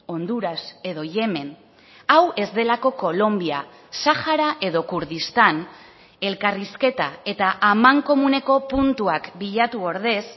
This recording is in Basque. honduras edo yemen hau ez delako kolonbia sahara edo kurdistan elkarrizketa eta amankomuneko puntuak bilatu ordez